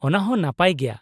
ᱚᱱᱟᱦᱚᱸ ᱱᱟᱯᱟᱭ ᱜᱮᱭᱟ ᱾